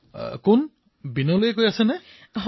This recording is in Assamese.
প্ৰধানমন্ত্ৰীঃ কোন বিনোলেয়ে কৈ আছে নেকি